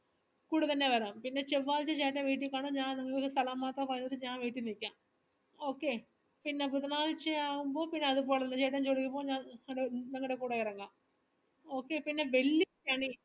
കൂടെത്തന്നെ വേണം പിന്നെ ചെവ്വാഴ്‌ച ചേട്ടൻ വീട്ടിൽ കാണും ഞാൻ പറഞ്ഞിട്ട് ഞാൻ വീട്ടീ നീക്കം okay പിന്നെ ബുധനാഴ്ച ആവുമ്പോ പിന്നെ അതുപോൽത്തന്നെ ചേട്ടൻ ജോലിക്ക് പോകും ഞാൻ ഇങ്ങടെ നിങ്ങടെ കൂടെ എറങ്ങാം okay പിന്നെ വെൽ